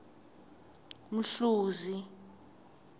mhluzi